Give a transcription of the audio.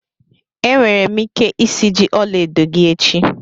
Enwere m ike isiji ọla edo gị echi